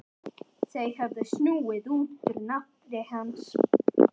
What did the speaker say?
Þeir höfðu snúið út úr nafni hans.